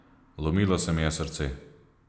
Lomilo se mi je srce.